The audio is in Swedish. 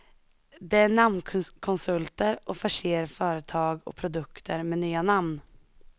De är namnkonsulter och förser företag och produkter med nya namn.